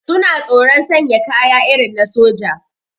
Suna tsoron sanya kaya irin na soja